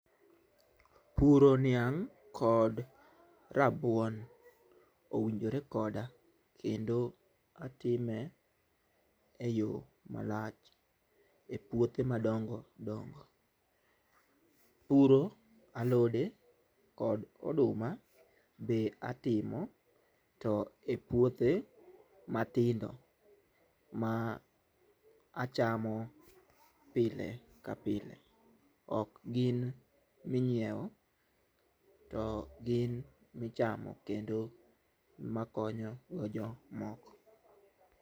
Puro niang' kod rabuon owinjore koda kendo atime eyo malach e puothe madongo dongo. Puro alode kod oduma be atimo to e puothe matindo ma achamo pile ka pile ok gin minyiewo to gin michamo kendo makonyo go jok moko.